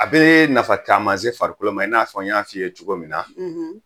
A bɛ nafa caman se farikolo ma i n'a fɔ n y'a fɔ i ye cogo min na